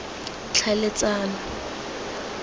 tlhaeletsano